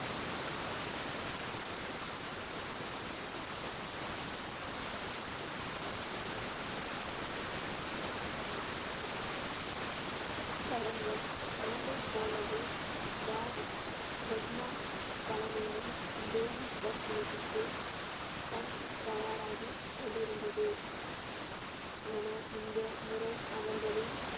கடந்த ஆண்டை போலவே பாய் லெக்னா தலைமையில் தேவி தரிசனத்திற்கு சண் தயாராகி கொண்டிருந்தது. ஆனால், இந்த முறை அவர்களின்